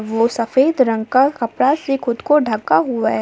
वो सफ़ेद रंग का कपड़ा से खुद को ढका हुआ है |